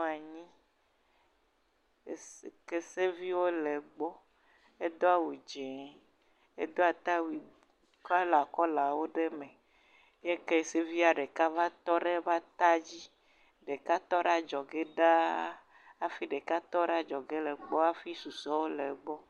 Nyɔnuvi aɖe. Keseviwo le egbɔ. Edo awu dzi, edo atawu kɔlakɔlawo ɖe me eye kesevia ɖeka va tɔ ɖe eƒe ata dzi, ɖeka tɔ ɖe adzɔge ɖa hafi ɖeka tɔ ɖe adzɔge le egbɔ hafi susɔewo le egbɔ.